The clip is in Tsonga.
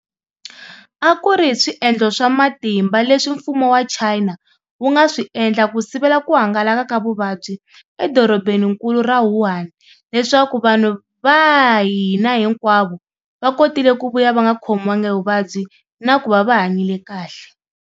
A ku ri hi swiendlo swa matimba leswi mfumo wa China wu nga swi endla ku sivela ku hangalaka ka vuvabyi edorobeninkulu ra Wuhan, leswaku vanhu va hina hinkwavo va kotile ku vuya va nga khomiwanga hi vuvabyi na ku va va hanyile kahle.